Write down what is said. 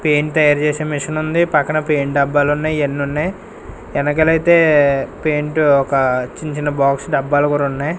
Paint తయారు చేసే machine ఉంది పక్కన పెయింట్ డబ్బాలు ఉన్నాయి ఇయన్ని ఉన్నాయి ఎనకలైతే పెయింట్ ఒక చిన్న చిన్న బాక్స్ డబ్బాలు కూడా ఉన్నాయి.